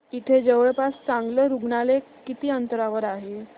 इथे जवळपास चांगलं रुग्णालय किती अंतरावर आहे